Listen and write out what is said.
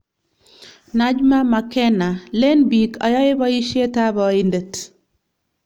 Najma Makena: Leen biik ayae boisyetab aindet